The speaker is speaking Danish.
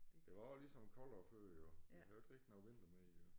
Det var også ligesom koldere før jo vi har ikke rigtig noget vinter mere jo